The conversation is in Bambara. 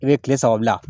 I bɛ kile saba bila